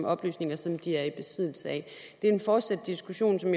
oplysninger som de er i besiddelse af det er en fortsat diskussion som